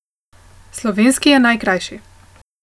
Slovenski je najkrajši.